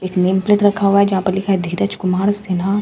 एक name plate रखा हुआ है जहां पर लिखा है धीरज कुमार सिन्हा।